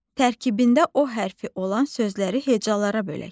Tərkibində o hərfi olan sözləri hecalara bölək.